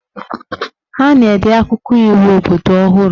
Ha na-ede akwụkwọ iwu obodo ọhụrụ